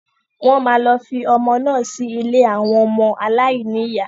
Wọ́n máa lọ fi ọmọ naa sí ilé àwọn ọmọ aláìníyà.